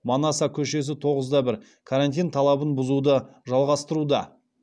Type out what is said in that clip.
карантин талабын бұзуды жалғастыруда